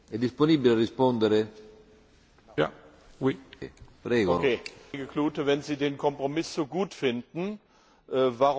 Herr Kollege Klute, wenn Sie den Kompromiss so gut finden, warum hat denn Ihre Fraktion eine Verfünffachung der Steuersätze vorgeschlagen?